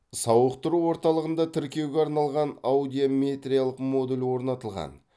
сауықтыру орталығында тіркеуге арналған аудиометриялық модуль орнатылған